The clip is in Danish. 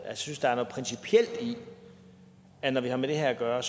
jeg synes der er noget principielt i at når vi har med det her at gøre